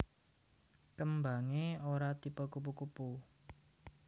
Kembangé ora tipe kupu kupu